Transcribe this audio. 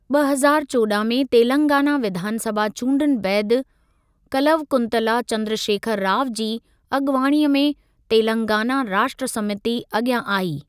ॿ हज़ार चोॾहां में तेलंगाना विधानसभा चूंड्रनि बैदि कलवकुंतला चंद्रशेखर राव जी अॻुवाणीअ में तेलंगाना राष्ट्र समिती अॻियां आई।